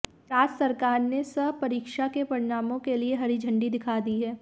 राज्य सरकार ने स परीक्षा के परिणामों के लिए हरी झंडी दिखा दी है